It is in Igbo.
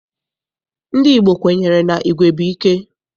Ndị Igbo kwenyere na igwe bụ ike.